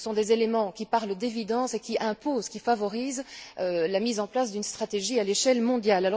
Ce sont des éléments qui parlent d'évidence et qui imposent, qui favorisent la mise en place d'une stratégie à l'échelle mondiale.